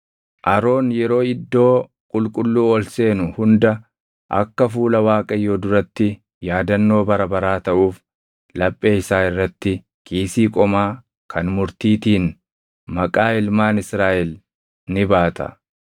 “Aroon yeroo iddoo qulqulluu ol seenu hunda akka fuula Waaqayyoo duratti yaadannoo bara baraa taʼuuf laphee isaa irratti kiisii qomaa kan murtiitiin maqaa ilmaan Israaʼel ni baata.